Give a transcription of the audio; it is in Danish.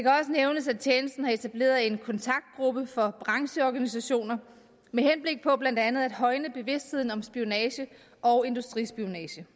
nævnes at tjenesten har etableret en kontaktgruppe for brancheorganisationer med henblik på blandt andet at højne bevidstheden om spionage og industrispionage